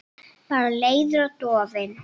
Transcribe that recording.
Bara leiður og dofinn.